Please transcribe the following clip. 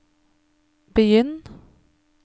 begynn